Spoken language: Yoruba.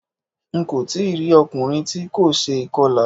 Ń kò tí rí ọkùnrin tí kò ṣe ìkọlà.